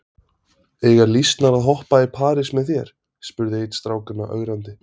Eiga lýsnar að hoppa í parís með þér? spurði einn strákanna ögrandi.